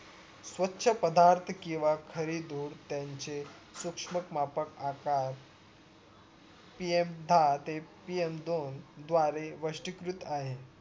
स्वछ पदार्थ किंवा खरी धूर त्यांचे सुक्ष्म मापक आकार PM दहा ते PM दोन द्वारे वष्टीकृत आहे